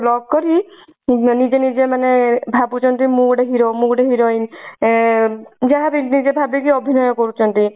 lock କରି ନିଜେ ନିଜେ ମାନେ ଭାବୁଛନ୍ତି ମୁଁ ଗୋଟେ hero ମୁ ଗୋଟେ heroin ଏଁ ଯାହା ବି ନିଜେ ଭବିକି ଅଭିନୟ କରୁଛନ୍ତି